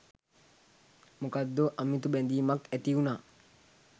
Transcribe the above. මොකක්දෝ අමුතු බැඳීමක් ඇතිවුණා